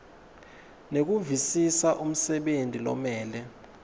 nekuvisisa umsebenti lomele